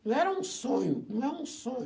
Não era um sonho, não era um sonho.